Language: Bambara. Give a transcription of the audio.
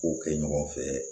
K'o kɛ ɲɔgɔn fɛ